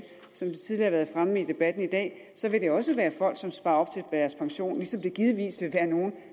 som det tidligere har været fremme i debatten i dag vil det også være folk som sparer op til deres pension ligesom det givetvis vil være nogle